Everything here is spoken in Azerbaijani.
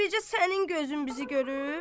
Elə bircə sənin gözün bizi görüb?